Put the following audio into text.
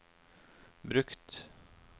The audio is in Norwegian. brukt